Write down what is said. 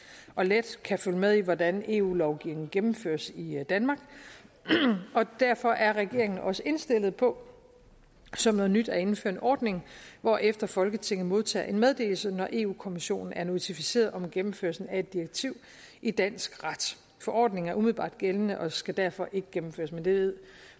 og let kan følge med i hvordan eu lovgivning gennemføres i i danmark og derfor er regeringen også indstillet på som noget nyt at indføre en ordning hvorefter folketinget modtager en meddelelse når europa kommissionen er notificeret om gennemførelsen af et direktiv i dansk ret forordningen er umiddelbart gældende og skal derfor ikke gennemføres men det ved